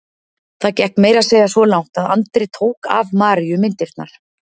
Það gekk meira að segja svo langt að Andri tók af Maríu myndirnar.